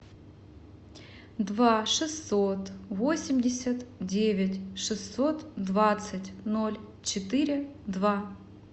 два шестьсот восемьдесят девять шестьсот двадцать ноль четыре два